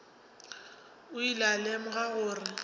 o ile a lemoga gore